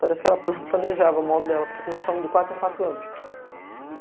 Parece que ela planejava o modo dela, porque nós somos de quatro em quatro anos.